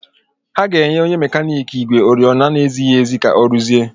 Ha ga-enye onye mekaniki ígwè oriọna na-ezighi ezi ka ọ rụzie.